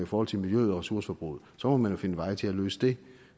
forhold til miljøet og ressourceforbruget må man finde veje til at løse det